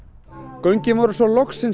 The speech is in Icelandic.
göngin voru svo loksins